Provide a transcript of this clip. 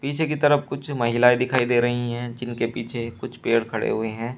पीछे कि तरफ कुछ महिलाएं दिखाई दे रही हैं जिनके पीछे कुछ पेड़ खड़े हुए हैं।